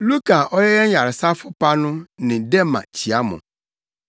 Luka a ɔyɛ yɛn yaresafo pa no ne Dema kyia mo.